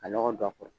Ka lɔgɔ don a kɔrɔ